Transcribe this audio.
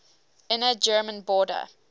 inner german border